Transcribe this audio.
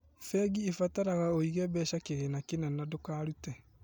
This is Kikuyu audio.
Bengi ĩbataraga ũige mbeca kĩgĩna kina na ndũkarute